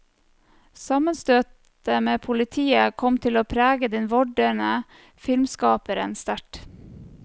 Sammenstøtet med politiet kom til å prege den vordende filmskaperen sterkt.